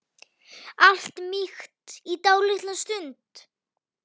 Allt mýkt í dálitla stund.